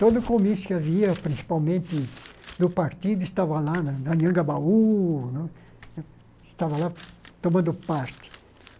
Todo comício que havia, principalmente do partido, estava lá, na na, estava lá tomando parte.